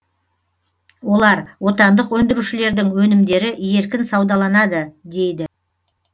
олар отандық өндірушілердің өнімдері еркін саудаланады дейді